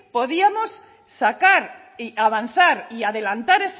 podíamos sacar y avanzar y adelantar